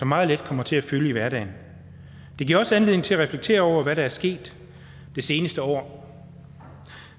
meget let kommer til at fylde i hverdagen det giver også anledning til at reflektere over hvad der er sket det seneste år